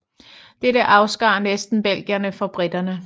Dette afskar næsten belgierne fra briterne